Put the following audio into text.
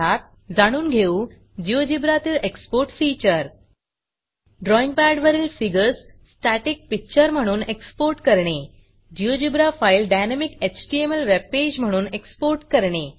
या पाठात जाणून घेऊ GeoGebraजियोजीब्रा तील Exportएक्सपोर्ट फीचर ड्रॉईंग पॅडवरील फिगर्स स्टॅटिक पिक्चर म्हणून एक्सपोर्ट करणे GeoGebra file dynamic HTML webpage म्हणून एक्सपोर्ट करणे